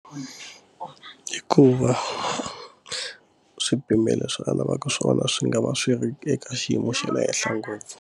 Hikuva swipimelo swa a lavaka swona swi nga va swi ri eka xiyimo xa le henhla ngopfu.